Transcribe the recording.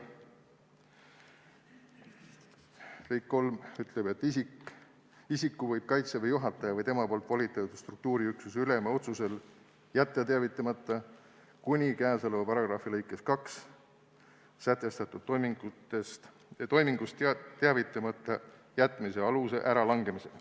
Lõige 3 ütleb, et isiku võib Kaitseväe juhataja või tema poolt volitatud struktuuriüksuse ülema otsusel jätta teavitamata kuni käesoleva paragrahvi lõikes 2 sätestatud toimingust teavitamata jätmise aluse äralangemiseni.